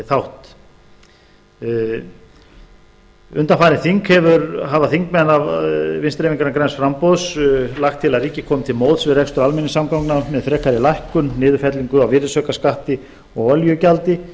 þátt undanfarið þing hafa þing vinstri hreyfingarinnar græns framboðs lagt til að ríkið komi til móts við rekstur almenningssamgangna með frekari lækkun niðurfellingu á virðisaukaskatti og olíugjaldi